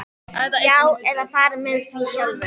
Já, eða farið með því sjálfur.